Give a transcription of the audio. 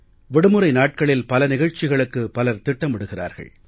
விடுமுறை நாட்களில் பல நிகழ்ச்சிகளுக்கு பலர் திட்டமிடுகிறார்கள்